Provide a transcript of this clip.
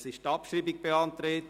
Es ist die Abschreibung beantragt.